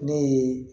Ne ye